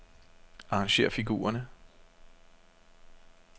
Arrangér figurerne.